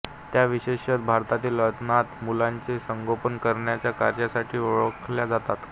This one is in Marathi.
त्या विशेषतः भारतातील अनाथ मुलांचे संगोपन करण्याच्या कार्यासाठी ओळखल्या जातात